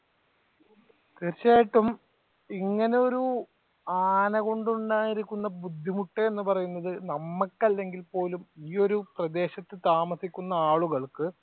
തീർച്ചയായിട്ടും ഇങ്ങനെ ഒരു ആന കൊണ്ടുണ്ടായിരുന്ന ബുദ്ധിമുട്ട് എന്ന് പറയുന്നത് നമ്മക്ക് അല്ലെങ്കിൽ പോലും ഈ ഒരു പ്രദേശത്തു താമസിക്കുന്ന ആളുകൾക്ക്